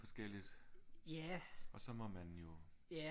Forskelligt og så må man jo